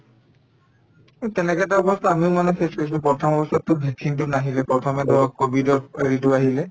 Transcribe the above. এই তেনেকে এটা অৱস্থা আমিও মানে face কৰিছিলো প্ৰথম অৱস্থাত to vaccine তো নাহিলে প্ৰথমে ধৰক কভিডৰ হেৰিটো আহিলে